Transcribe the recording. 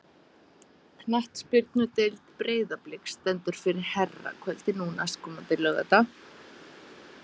Knattspyrnudeild Breiðabliks stendur fyrir herrakvöldi nú næstkomandi laugardag.